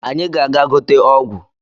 anyi ga-aga gote ogwu